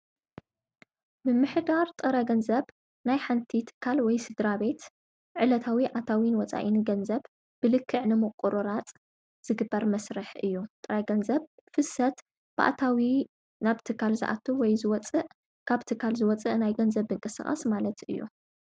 ምምሕዳር ጥረገንዘብ ናይ ሓንቲ ትካል ወይ ስድራ ቤት ዕለታዊ ኣታዊንወፃኢን ገንዘብ ብልክዕ ንመቑሩራጽ ዝግበር መሥርሕ እዩ ጥረ ገንዘብ ፍሰት ብኣታዊ ናብ ቲካል ዝኣቱ ወይ ዝወፅእ ካብቲካል ዝወፅእ ናይ ገንዘብ እንቀ ሥቓስ ማለት እዩ።